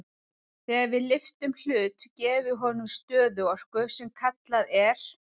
Þegar við lyftum hlut gefum við honum stöðuorku sem kallað er.